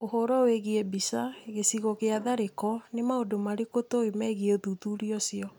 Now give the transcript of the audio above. Ũhoro wĩgiĩ mbica. Gĩcigo gĩa tharĩko. Nĩ maũndũ marĩkũ tũĩ megiĩ ũthuthuria ũcio?